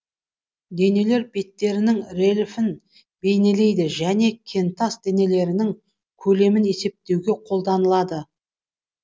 денелер беттерінің рельефін бейнелейді және кентас денелерінің көлемін есептеуде қолданылады